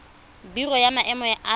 biro ya maemo ya aforika